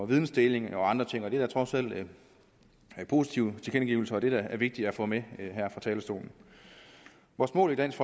vidensdeling og andre ting det er trods alt positive tilkendegivelser og det er da vigtigt at få med her fra talerstolen vores mål i dansk